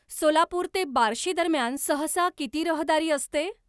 सोलापूर ते बार्शी दरम्यान सहसा किती रहदारी असते